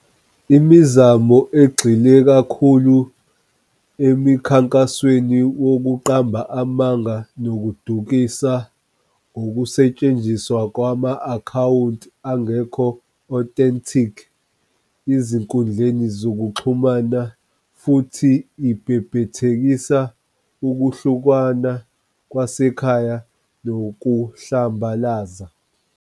Imizamo igxile kakhulu emikhankasweni wokuqamba amanga nokudukisa ngokusentshenziswa kwama-akhawunti angekho-authentic ezinkundleni zokuxhumana, futhi ibhebhethekisa ukuhlukana kwasekhaya nokuhlambalaza